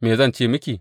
Me zan ce miki?